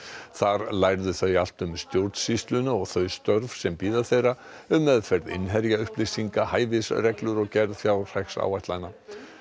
þar lærðu þau allt um stjórnsýsluna og þau störf sem bíða þeirra um meðferð innherjaupplýsinga hæfisreglur og gerð fjárhagsáætlana